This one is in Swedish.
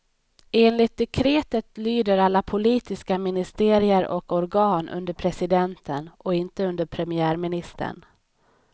Enligt dekretet lyder alla politiska ministerier och organ under presidenten och inte under premiärministern.